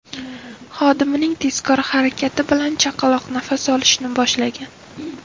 Xodimining tezkor harakati bilan chaqaloq nafas olishni boshlagan.